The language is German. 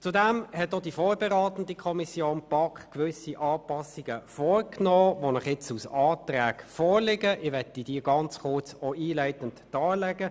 Zudem hat auch die BaK als vorberatende Kommission gewisse Anpassungen vorgeschlagen, die Ihnen nun als Anträge vorliegen.